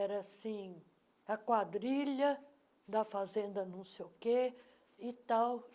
Era assim, a quadrilha da fazenda não sei o quê e tal.